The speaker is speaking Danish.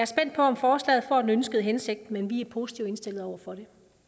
spændt på om forslaget får den ønskede hensigt men vi er positivt indstillet over for